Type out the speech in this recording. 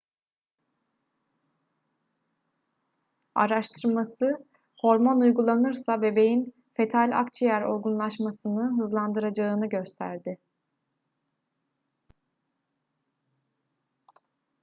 araştırması hormon uygulanırsa bebeğin fetal akciğer olgunlaşmasını hızlandıracağını gösterdi